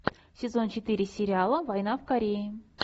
сезон четыре сериала война в корее